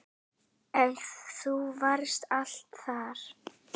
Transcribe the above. En þú varst alltaf þar.